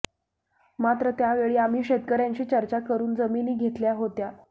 मात्र त्यावेळी आम्ही शेतकऱ्यांशी चर्चा करून जमीनी घेतल्या होत्या